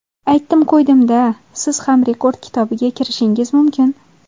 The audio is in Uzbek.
Aytdim qo‘ydimda... Siz ham rekord kitobiga kirishingiz mumkin!